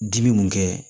Dimi mun kɛ